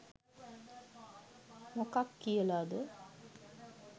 මොකක් කියලද?